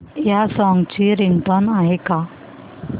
या सॉन्ग ची रिंगटोन आहे का